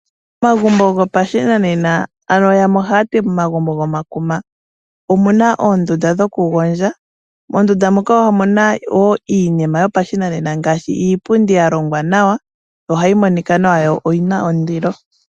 Momagumbo go pashinanena ano yamwe ohayati momagumbo go makuma omuna oondunda dhokugondja. Moondunda moka omuna woo iinima yo pashinanena ngaashi iipundi ya longwa nawa ohayi monika nawa yo oyina ondilo